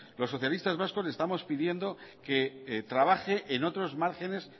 los socialistas vascos le estamos pidiendo que trabaje en otros márgenes